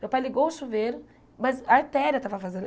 Meu pai ligou o chuveiro, mas a artéria estava vazando.